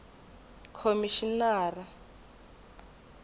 khomixinari